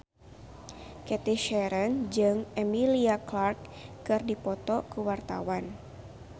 Cathy Sharon jeung Emilia Clarke keur dipoto ku wartawan